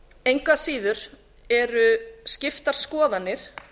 engu að síður eru skiptar skoðanir